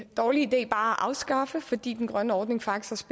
dårlig idé at afskaffe fordi den grønne ordning faktisk